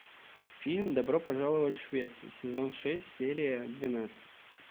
фильм добро пожаловать в швецию сезон шесть серия двенадцать